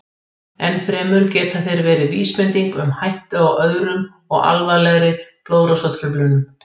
Enn fremur geta þeir verið vísbending um hættu á öðrum og alvarlegri blóðrásartruflunum.